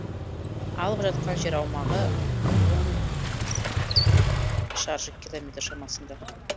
алып жатқан жер аумағы он шаршы километр шамасында